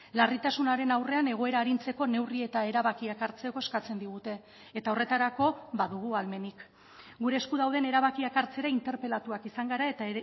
larritasunaren aurrean egoera arintzeko neurri eta erabakiak hartzeko eskatzen digute eta horretarako badugu ahalmenik gure esku dauden erabakiak hartzera interpelatuak izan gara eta